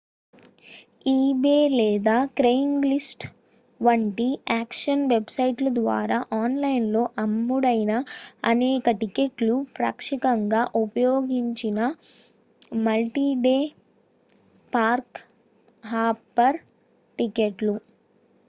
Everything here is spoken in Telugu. ఈబే లేదా క్రెయిగ్స్లిస్ట్ వంటి ఆక్షన్ వెబ్సైట్ల ద్వారా ఆన్లైన్లో అమ్ముడైన అనేక టికెట్లు పాక్షికంగా ఉపయోగించిన మల్టీ-డే పార్క్-హాపర్ టికెట్లు